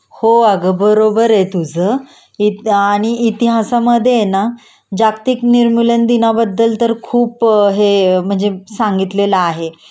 हो अगं बरोबर आहे तुझं आणि इतिहासामध्ये हे ना जागतिक निर्मूलन दिना बद्दल तर खूप हे म्हणजे सांगितलेलं आहे